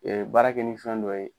baara kɛ ni fɛn dɔ ye